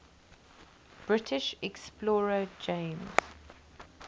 british explorer james